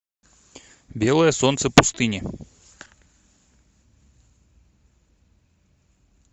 белое солнце пустыни